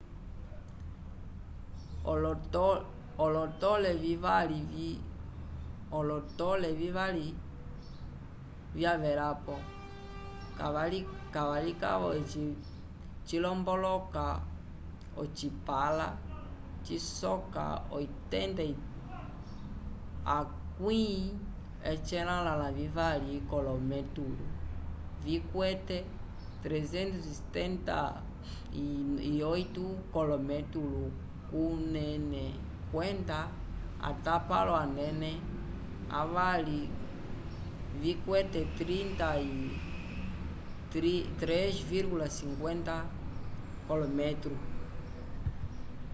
olotole vivali vyalepa kavalikavo eci cilomboloka ocipãla cisoka 83 k'olometulu vikwete 378 k'olometulu kunene kwenda atapalo anene avali vikwete 3,50 m